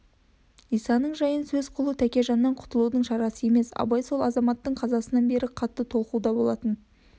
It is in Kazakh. исаның жайын сөз қылу тәкежаннан құтылудың шарасы емес абай сол азаматтың қазасынан бері қатты толқуда болатын